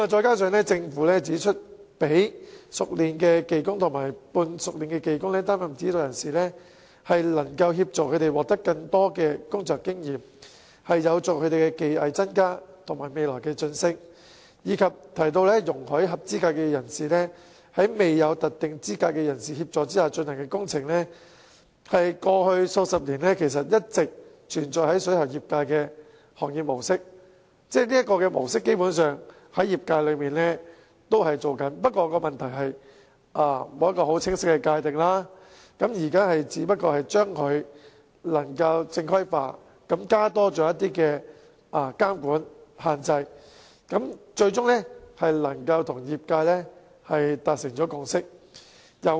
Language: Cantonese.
此外，政府亦指出，讓熟練技工及半熟練技工擔任指導人士，可以協助他們獲得更多工作經驗，有助他們的技藝增加及未來晉升，並提到容許合資格人士在未有特定資格人士的協助下進行工程，是過去數十年間一直存在於水喉業界的行業模式，業界基本上一直採取這模式，只是過往沒有清晰界定，現在是把做法正規化，加入監管和限制，因此與業界達成最終共識。